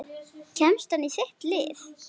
Kemst hann í þitt lið?